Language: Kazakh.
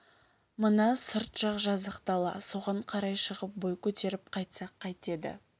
мына сырт жақ жазық дала соған қарай шығып бой көтеріп қайтсақ қайтеді